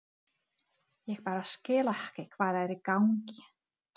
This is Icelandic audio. Ég bara skil ekki hvað er í gangi.